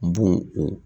Bo o